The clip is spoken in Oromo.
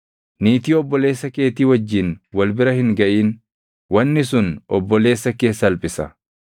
“ ‘Niitii obboleessa keetii wajjin wal bira hin gaʼin; wanni sun obboleessa kee salphisa.